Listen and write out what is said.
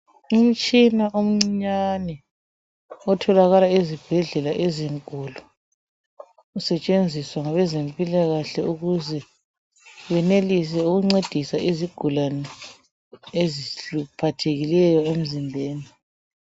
Umtshina omncinyane otholakala ezibhedlela ezinkulu usetshenziswa ngabezempilakahle ukuze benelise ukuncedisa izigulane eziphathekileyo emzimbeni.